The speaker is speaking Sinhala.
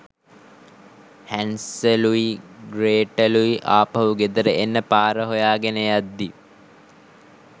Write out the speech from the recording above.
හැන්සලුයි ග්‍රේටලුයි ආපහු ගෙදර එන්න පාර හොයාගෙන යද්දී